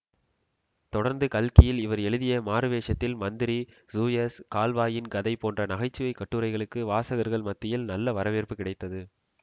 தொடர்ந்து கல்கியில் இவர் எழுதிய மாறுவேஷத்தில் மந்திரி சூயஸ் கால்வாயின் கதை போன்ற நகைச்சுவைக் கட்டுரைகளுக்கு வாசகர்கள் மத்தியில் நல்ல வரவேற்பு கிடைத்தது